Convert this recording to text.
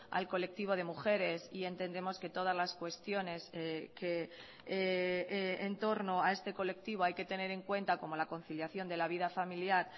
al colectivo de mujeres y entendemos que todas las cuestiones que en torno a este colectivo hay que tener en cuenta como la conciliación de la vida familiar